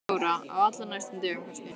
Þóra: Á allra næstu dögum kannski?